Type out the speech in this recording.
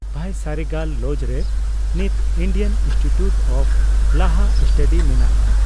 ᱵᱷᱟᱭᱥᱟᱨᱮᱜᱟᱞ ᱞᱚᱡ ᱨᱮ ᱱᱤᱛ ᱤᱱᱰᱤᱭᱟᱱ ᱤᱱᱥᱴᱤᱴᱤᱭᱩᱴ ᱚᱯᱷ ᱞᱟᱦᱟ ᱥᱴᱟᱰᱤ ᱢᱮᱱᱟᱜᱼᱟ ᱾